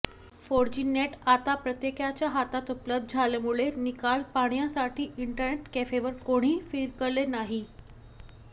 four G net आता प्रत्येकाच्या हातात उपलब्ध झाल्यामुळे निकाल पाहण्यासाठी इंटरनेट कॅफेवर कोणीही फिरकले नाही